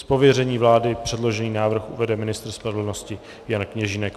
Z pověření vlády předložený návrh uvede ministr spravedlnosti Jan Kněžínek.